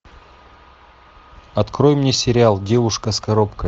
открой мне сериал девушка с коробкой